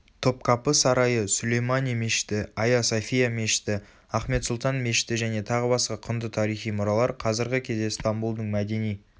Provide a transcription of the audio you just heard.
топкапы сарайы сүлеймани мешіті айя софия мешіті ахмет сұлтан мешіті және тағы басқа құнды тарихи мұралар қазіргі кезде стамбулдың мәдени